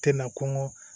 Tɛ na kɔnkɔ